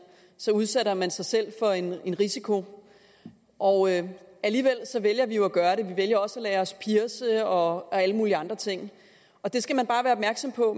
udsætter man sig selv for en risiko og alligevel vælger vi jo at gøre det og vi vælger også at lade os pierce og alle mulige andre ting det skal man bare være opmærksom på